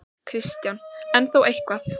Kristján: En þó eitthvað?